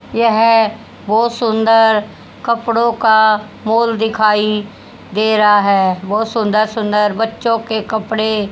यह बहोत सुंदर कपड़ों का माल दिखाई दे रहा है बहोत सुंदर सुंदर बच्चो के कपड़े--